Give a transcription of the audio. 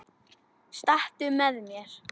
Stattu með þér.